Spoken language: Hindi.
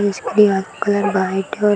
का कलर वाइट है और --